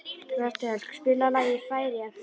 Bertel, spilaðu lagið „Færeyjablús“.